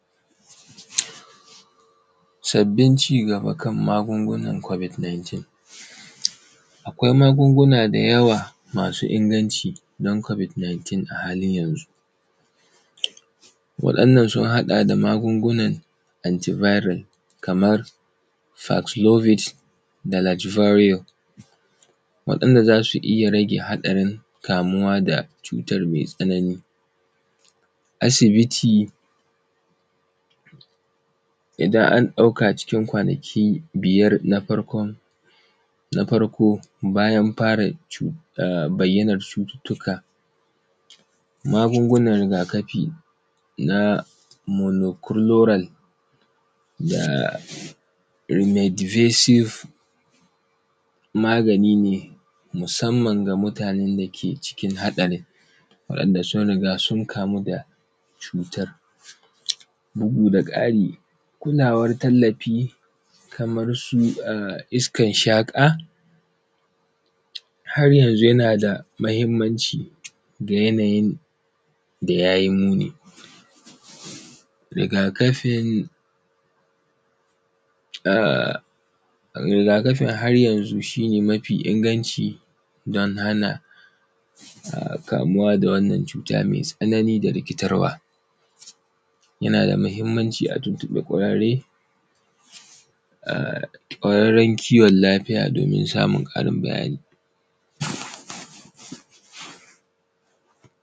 Sabbin cigaba kan magungunan “covid 19”. Akwai magunguna da yawa masu inganci don “covid 19” a halin yanzu, waɗannan sun haɗa da magungunan “antiviral” kaman “ patilovid” da “lagivario” waɗanda za su iya rage haɗarin kamuwa da cutar me tsanani. Asibiti, idan an ɗauka cikin kwanaki biyar na farkon; na farko bayan fara cu; bayyanar cututtuka, magungunan rigakafi na “monoculural” da “remedivasive’ magani ne musamman ga mutanen da ke cikin haɗarin waɗanda sun riga sun kamu da cutar. Bugu da ƙari, kulawar tallafi, kamar su a; iskar shaƙa, har yanzu yana da mahimmanci ga yanayin da ya yi muni. Rigakafin a; rigakafin har yanzu shi ne mafi inganci don hana a kamuwa da wannan cuta me tsanani da rikitarwa. Yana da muhimmanci a tuntuƃi ƙwararre a ƙwararren kiwon lafiya domin samun ƙarin bayani.